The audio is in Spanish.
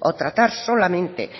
o tratar solamente